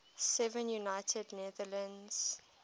seven united netherlands